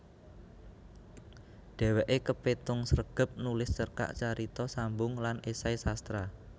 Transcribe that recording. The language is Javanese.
Dhèwèké kepétung sregep nulis cerkak carita sambung lan esai sastra